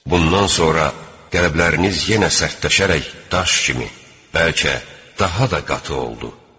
Bundan sonra qəlbləriniz yenə sərtləşərək daş kimi, bəlkə də daha da qatı oldu.